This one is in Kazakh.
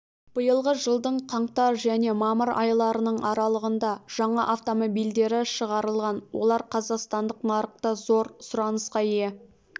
биылғы жылдың қаңтар және мамыр айларының аралығында жаңа автомобильдері шығарылған олар қазақстандық нарықта зор сұранысқа ие